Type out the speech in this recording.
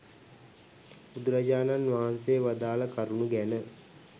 බුදුරජාණන් වහන්සේ වදාළ කරුණු ගැන.